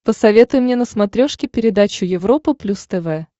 посоветуй мне на смотрешке передачу европа плюс тв